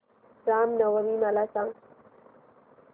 राम नवमी मला सांग